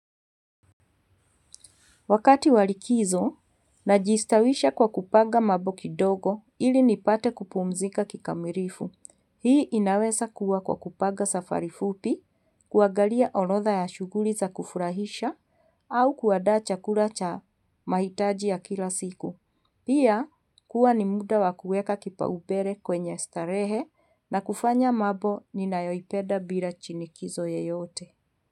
Wakati wa likizo, najistawisha kwa kupanga mambo kidogo ili nipate kupumzika kikamilifu. Hii inaweza kuwa kwa kupanga safari fupi, kuangalia orodha ya shughuli za kufurahisha, au kuandaa chakula cha mahitaji ya kila siku. Pia ni muda wa kuweka kipaumbele kwenye starahe na kufanya mambo ninayoyapenda bila shinikizo yoyote.